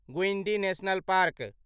Guindy national park